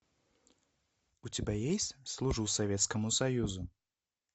у тебя есть служу советскому союзу